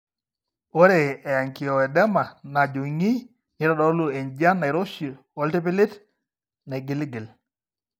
Ore eangioedema najung'i neitodolu enjian nairoshi ooltipilit naigiligil.